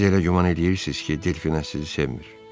“Siz elə güman eləyirsiz ki, Delfina sizi sevmir.